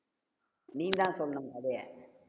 நீ தான் சொல்லணும் கதைய